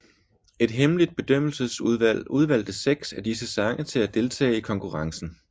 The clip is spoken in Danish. Et hemmeligt bedømmelsesudvalg udvalgte seks af disse sange til at deltage i konkurrencen